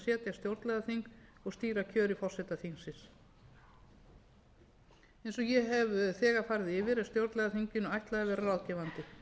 stjórnlagaþing og stýra kjöri forseta þingsins eins og ég hef þegar farið yfir er stjórnlagaþinginu ætlað að vera ráðgefandi